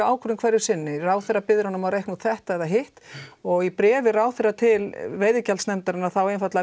ákvörðun hverju sinni ráðherra biður hana að reikna út þetta eða hitt og í bréfi ráðherra til veiðigjaldsnefndarinnar þá